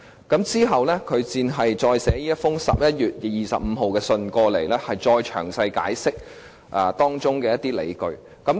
其後，律政司在11月25日再次發函，詳細解釋當中的理據。